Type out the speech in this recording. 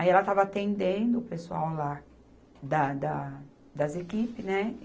Aí ela estava atendendo o pessoal lá da, da, das equipes, né?